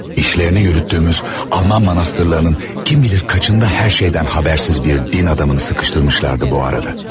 İşlərini yürütdüyümüz Alman manastırlarının kim bilər neçəsində hər şeydən xəbərsiz bir din adamını sıxışdırmışdılar bu arada.